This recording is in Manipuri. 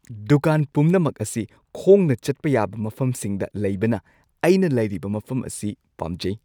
ꯗꯨꯀꯥꯟ ꯄꯨꯝꯅꯃꯛ ꯑꯁꯤ ꯈꯣꯡꯅ ꯆꯠꯄ ꯌꯥꯕ ꯃꯐꯝꯁꯤꯡꯗ ꯂꯩꯕꯅ ꯑꯩꯅ ꯂꯩꯔꯤꯕ ꯃꯐꯝ ꯑꯁꯤ ꯄꯥꯝꯖꯩ꯫